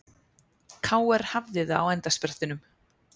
KR hafði það á endasprettinum